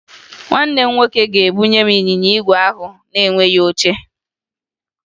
Nwanne m nwoke ga-ebunye m ịnyịnya igwe ahụ na-enweghi oche